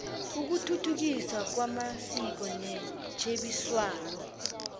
ukuthuthukiswa kwamasiko netjhebiswano